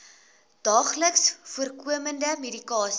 daagliks voorkomende medikasie